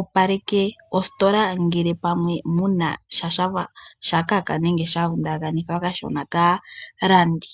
opaleke ositola ngele pamwe muna sha shafa sha kaka nenge sha vundakanithwa kashona kaalandi.